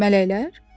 Mələklər?